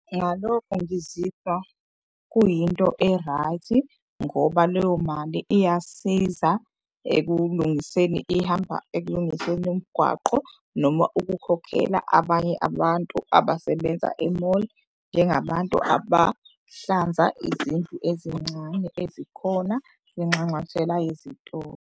Ngalokho ngizizwa kuyinto e-right-i ngoba leyo mali iyasiza ekulingiseni. Ihamba ekulingiseni umgwaqo noma ukukhokhela abanye abantu abasebenza e-mall. Njengabantu abahlanza izindlu ezincane ezikhona kwinxanxathela yezitolo.